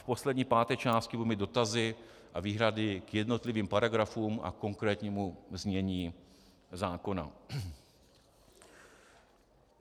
V poslední, páté části budu mít dotazy a výhrady k jednotlivým paragrafům a konkrétnímu znění zákona.